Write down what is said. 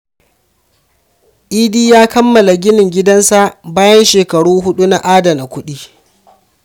Idi ya kammala ginin gidansa bayan shekaru hudu na adana kudi.